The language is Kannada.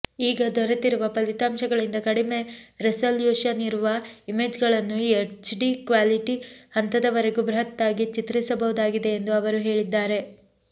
ಈಗ ದೊರೆತಿರುವ ಫಲಿತಾಂಶಗಳಿಂದ ಕಡಿಮೆ ರೆಸಲ್ಯೂಷನ್ ಇರುವ ಇಮೇಜ್ಗಳನ್ನು ಎಚ್ಡಿ ಕ್ವಾಲಿಟಿ ಹಂತದವರೆಗೂ ಬೃಹತ್ತಾಗಿ ಚಿತ್ರಿಸಬಹುದಾಗಿದೆ ಎಂದು ಅವರು ಹೇಳಿದ್ದಾರೆ